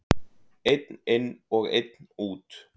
Einn inn og einn út!